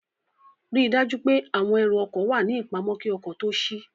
Ríi dájú pé àwọn ẹrù ọkọ̀ wà ní ìpamọ́ kí ọkọ̀ tó ṣí